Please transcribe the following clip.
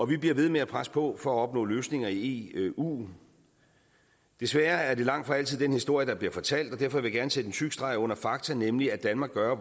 vi bliver ved med at presse på for at opnå løsninger i eu desværre er det langtfra altid den historie der bliver fortalt og derfor vil jeg gerne sætte en tyk streg under fakta nemlig at danmark gør